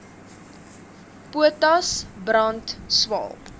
potas brand swael